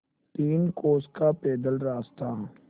तीन कोस का पैदल रास्ता